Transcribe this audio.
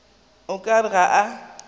o ka re ga a